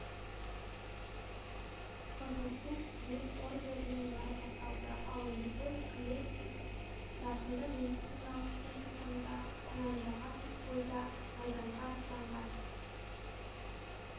қызыл ту құрмет ордендерімен марапатталды ал любовь колесник жасында медициналық техникумды тәмәмдаған бойда майданға аттанған